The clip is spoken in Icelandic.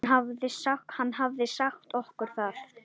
Hann hafði sagt okkur það.